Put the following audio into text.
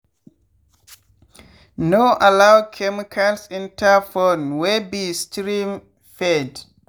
no allow chemicals enter pond wey be stream-fed.